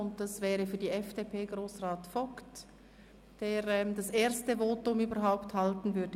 Für die FDP-Fraktion spricht Grossrat Vogt, der zu diesem Geschäft sein erstes Votum überhaupt halten wird.